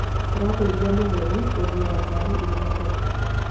Tũrateithia mũgũri gũthuura ngaari ĩrĩa njega